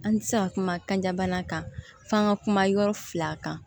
An ti se ka kuma kan bana kan f'an ka kuma yɔrɔ fila kan